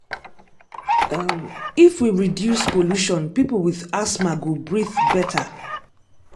um if we reduce pollution people with asthma go breathe better.